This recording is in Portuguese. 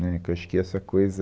Né, Que eu acho que é essa coisa...